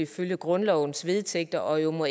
følge grundlovens vedtægter og ikke må